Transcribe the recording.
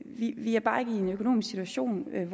vi er bare ikke i en økonomisk situation